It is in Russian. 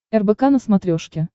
рбк на смотрешке